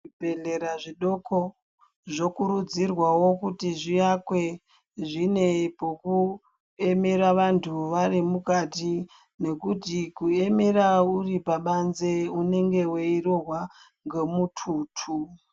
Zvibhedhlera zvidoko zvokurudzirwao kuti zvivakwe zvine pokuemera vanthu vari mukati nekuti kuemera uri pabanze unenge weirohwa ngemututu.